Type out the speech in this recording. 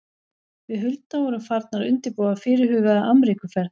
Við Hulda vorum farnar að undirbúa fyrirhugaða Ameríkuferð.